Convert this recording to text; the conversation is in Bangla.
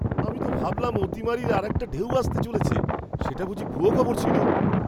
আমি তো ভাবলাম অতিমারীর আরেকটা ঢেউ আসতে চলেছে! সেটা বুঝি ভুয়ো খবর ছিল?